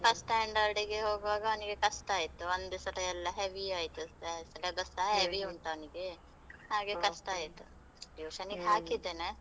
First standard ಗೆ ಹೋಗುವಾಗ ಅವನಿಗೆ ಕಷ್ಟ ಆಯ್ತು, ಒಂದೆ ಸಲ ಎಲ್ಲ heavy ಆಯ್ತು, ಆ syllabus ಸ heavy ಉಂಟು ಅವ್ನಿಗೆ, ಹಾಗೆ ಕಷ್ಟ ಆಯ್ತು ಹಾಕಿದ್ದೇನೆ.